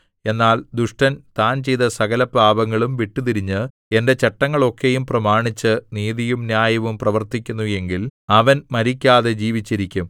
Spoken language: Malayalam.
എന്നാൽ ദുഷ്ടൻ താൻ ചെയ്ത സകലപാപങ്ങളും വിട്ടുതിരിഞ്ഞ് എന്റെ ചട്ടങ്ങളൊക്കെയും പ്രമാണിച്ച് നീതിയും ന്യായവും പ്രവർത്തിക്കുന്നു എങ്കിൽ അവൻ മരിക്കാതെ ജീവിച്ചിരിക്കും